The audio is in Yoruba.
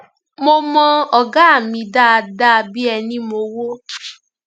mo mọ ọgá mi dáadáa bíi ẹni mowó